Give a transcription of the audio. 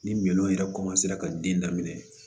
Ni minɛnw yɛrɛ ka den daminɛ